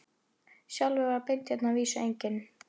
Sjálfur var Beinteinn að vísu enginn